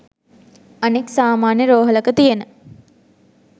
අනෙක් සාමාන්‍ය රෝහලක තියෙන